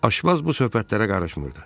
Aşbaz bu söhbətlərə qarışmırdı.